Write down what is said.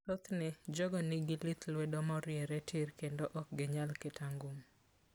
Thothne, jogo nigi lith lwedo moriere tir kendo ok ginyal keto angum.